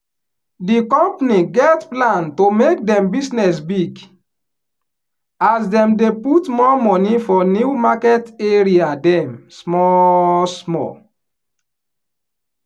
di company get plan to make dem business big as dem dey put more moni for new market area dem small small.